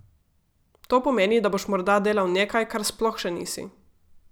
To pomeni, da boš morda delal nekaj, kar sploh še nisi.